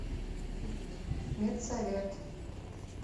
медсовет